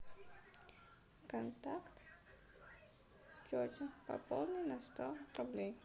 контакт тетя пополни на сто рублей